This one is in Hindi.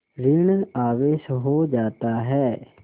ॠण आवेश हो जाता है